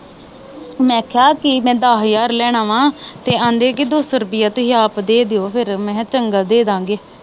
ਮੈਂ ਆਖਿਆ, ਮੈਂ ਦਸ ਹਜਾਰ ਲੈਣਾ ਵਾ ਤੇ ਆਖਦਾ ਸਰਦੀਆਂ ਤਾਂਈ ਆਪ ਦੇ ਦਿਉ। ਫਿਰ ਮੈਂ ਕਿਹਾ ਚੰਗਾ ਦੇ ਦਾਂਗੇ।